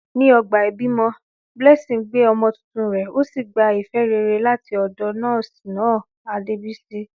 Ní ọgbà ìbímọ, Blessing gbé ọmọ tuntun rẹ̀, ó sì gba ìfẹ́ rere láti ọ̀dọ̀ nọ́ọ̀sì náà, Adebisi.